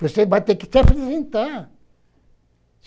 Você vai ter que se apresentar.